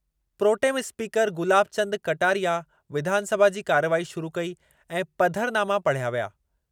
Pro tem speaker Gulab Chand Kataria विधानसभा जी कार्रवाई शुरू कई ऐं पधरनामा पढ़िया विया।